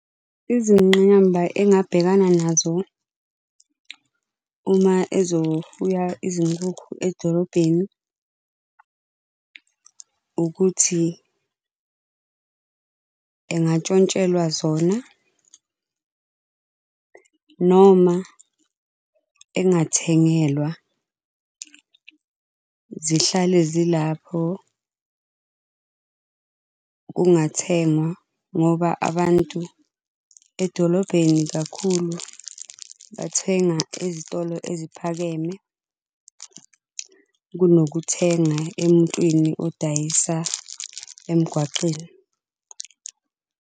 Izingqinamba engabhekana nazo uma ezofuya izinkukhu edolobheni, ukuthi engantshontshelwa zona, noma engathengelwa zihlale zilapho kungathengwa ngoba abantu edolobheni kakhulu bathenga ezitolo eziphakeme kunokuthenga emuntwini odayisa emgwaqeni.